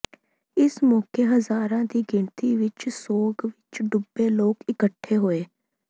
ਇਸ ਮੌਕੇ ਹਜ਼ਾਰਾਂ ਦੀ ਗਿਣਤੀ ਵਿਚ ਸੋਗ ਵਿਚ ਡੁੱਬੇ ਲੋਕ ਇਕੱਠੇ ਹੋਏ